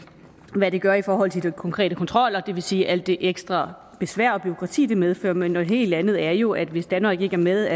hvad det gør i forhold til de konkrete kontroller det vil sige alt det ekstra besvær og bureaukrati det medfører men noget helt andet er jo at hvis danmark ikke er med